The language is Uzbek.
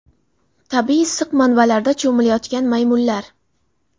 Tabiiy issiq manbalarda cho‘milayotgan maymunlar.